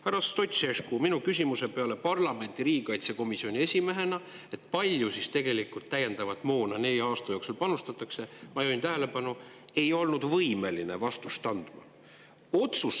Härra Stoicescu parlamendi riigikaitsekomisjoni esimehena ei olnud minu küsimusele, kui palju tegelikult täiendavat moona nelja aasta jooksul panustatakse – ma juhin tähelepanu –, võimeline vastust andma.